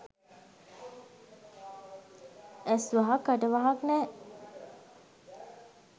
ඇස් වහක් කට වහක් නෑ